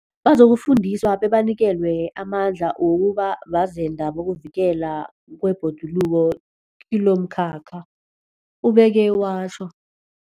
Bazokufundiswa bebanikelwe amandla wokuba bazenda bokuvikelwa kwebhoduluko kilomkhakha, ubeke watjho.